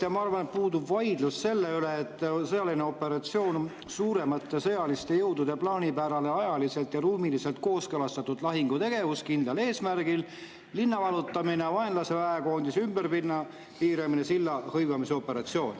Ma arvan, et puudub vaidlus selle üle, et sõjaline operatsioon on suuremate sõjaliste jõudude plaanipärane, ajaliselt ja ruumiliselt kooskõlastatud lahingutegevus kindlal eesmärgil: linna vallutamine, vaenlase väekoondise ümberpiiramine, silla hõivamine.